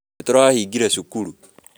Nĩ tũrahingire cukuru